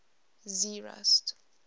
zeerust